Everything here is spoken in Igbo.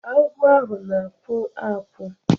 Agwọ ahụ na-akpụ akpụ.